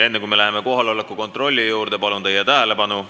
Enne kui me läheme kohaloleku kontrolli juurde, palun teie tähelepanu.